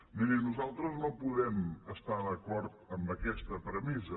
mirin nosaltres no podem estar d’acord amb aquesta premissa